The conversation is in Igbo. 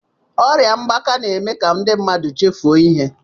Ọrịa mgbaka na-eme ka ndị mmadụ chefuo ihe.